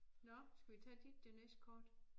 Nåh skal vi tage dit det næste kort